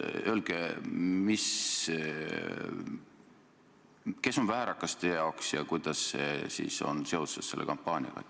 Öelge, kes on teie meelest väärakas ja kuidas on see seotud selle kampaaniaga.